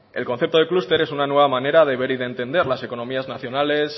el concepto de clúster es una nueva manera de ver y de entender las economías nacionales